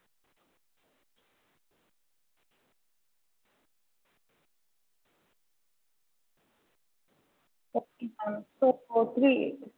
நீங்க எதுக்கும் ஒரு forty members க்கு வந்து போட்டுருங்க. ஏன்னா extra ஆனாலும் பரவால்ல ஒன்னும் பிரச்சின இல்ல ஆனா பத்தாம போயிருச்சுனா கஷ்டமாய்ரும். நீங்க forty பேருக்கு வந்து